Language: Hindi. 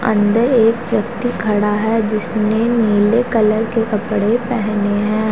अंदर एक व्यक्ति खड़ा है जिसने नीले कलर के कपड़े पहने हैं।